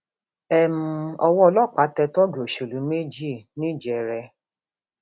um owó ọlọpàá tẹ tóógì òṣèlú méjì ńìjẹrẹ